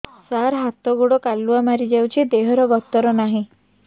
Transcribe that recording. ସାର ହାତ ଗୋଡ଼ କାଲୁଆ ମାରି ଯାଉଛି ଦେହର ଗତର ନାହିଁ